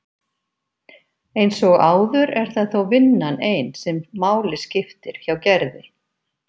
Eins og áður er það þó vinnan ein sem máli skiptir hjá Gerði.